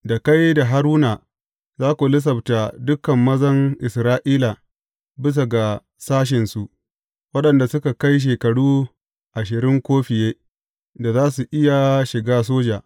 Da kai da Haruna za ku lissafta dukan mazan Isra’ila bisa ga sashensu, waɗanda suka kai shekaru ashirin ko fiye, da za su iya shiga soja.